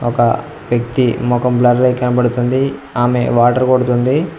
ఒక వ్యక్తి ముఖం బ్లర్ అయి కనబడుతుంది ఆమె వాటర్ కొడుతుంది.